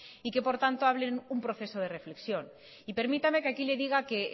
y que por tanto hablen de un proceso de reflexión permítame que aquí le diga